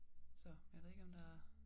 Så jeg ved ikke om der